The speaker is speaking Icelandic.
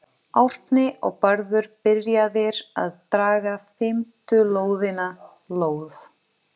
Árni og Bárður byrjaðir að draga fimmtu lóðina, lóð